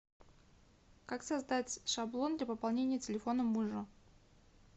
как создать шаблон для пополнения телефона мужа